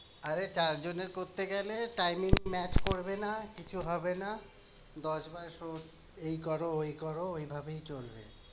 আরে চার জনে করতে গেলে timing match করবে না, কিছু হবে না। এই করো, ঐ করো, ঐভাবেই চলবে।